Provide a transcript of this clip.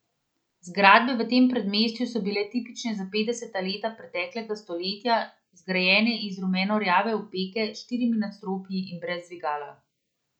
Zgradbe v tem predmestju so bile tipične za petdeseta leta preteklega stoletja, zgrajene iz rumenorjave opeke, s štirimi nadstropji in brez dvigala.